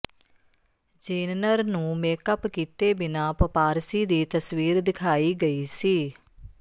Jenner ਨੂੰ makeup ਕੀਤੇ ਬਿਨਾਂ ਪਪਾਰਸੀ ਦੀ ਤਸਵੀਰ ਦਿਖਾਈ ਗਈ ਸੀ